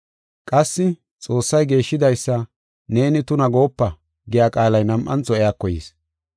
Qassi, “Xoossay geeshshidaysa neeni tuna goopa” giya qaalay nam7antho iyako yis.